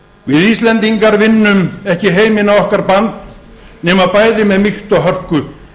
við íslendingar vinnum ekki heiminn á okkar band nema bæði með mýkt og hörku